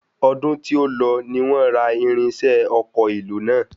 Ọdún tí ó lọ ni wọ́n ra irinṣẹ́ ọkọ̀ èlò náà.